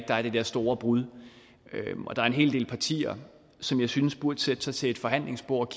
der er det der store brud der er en hel del partier som jeg synes burde sætte sig til forhandlingsbordet